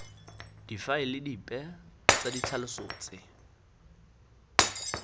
difaele dipe tsa ditlhaloso tse